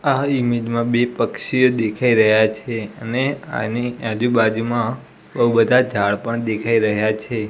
આ ઇમેજ માં બે પક્ષીઓ દેખાઈ રહ્યા છે અને આની આજુ બાજુમાં બૌ બધા ઝાડ પણ દેખાઈ રહ્યા છે.